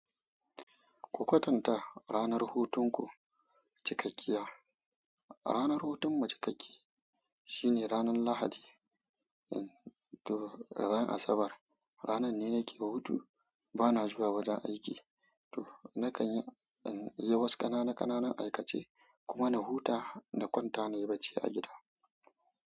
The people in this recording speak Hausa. Ku kwatanta ranar hutunku cikakkiya. Ranar hutun mu cikakke shine ranar Lahadi. To ran Asabar, ranar ne nake hutu bana zuwa wajen aiki. To nakan yi, in yi wasu ƙananan ƙananan aikace kuma na huta na kwanta nayi barci a gida.